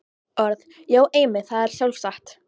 Orð.- Já, einmitt, það er sjálfsagt.